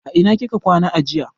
A ina kika kwana jiya?